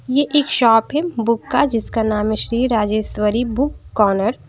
ये एक शॉप है बुक का जिसका नाम है श्री राजेश्वरी बुक कॉर्नर ।